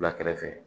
Wula kɛrɛfɛ